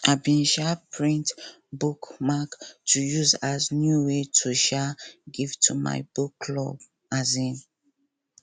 i bin um paint bookmark to use as new way to um give to my book club um